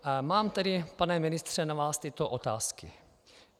Mám tedy, pane ministře, na vás tyto otázky.